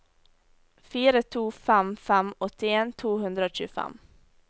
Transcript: fire to fem fem åttien to hundre og tjuefem